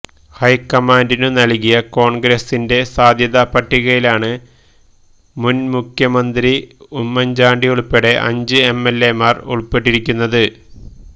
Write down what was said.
ഹൈക്കമാന്ഡിനു നല്കിയ കോണ്ഗ്രസിന്റെ സാധ്യതാ പട്ടികയിലാണ് മുന്മുഖ്യമന്ത്രി ഉമ്മന്ചാണ്ടിയുള്പ്പെടെ അഞ്ച് എംഎല്എമാര് ഉള്പ്പെട്ടിരിക്കുന്നത്